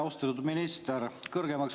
Austatud minister!